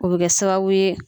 O bi kɛ sababu ye.